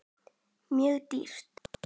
Mjög dýrt.